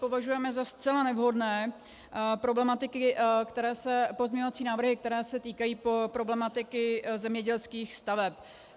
Považujeme za zcela nevhodné pozměňovací návrhy, které se týkají problematiky zemědělských staveb.